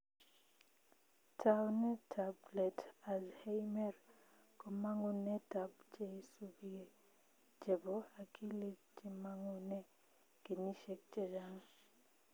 Taunet ab let azheimers komangunetab cheisupigee chebo akilit chemangunee kenyishek chechang